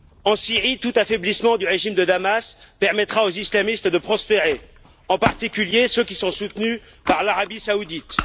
En Syrie, tout affaiblissement du régime de Damas permettra aux islamistes de prospérer, en particulier ceux qui sont soutenus par l'Arabie saoudite.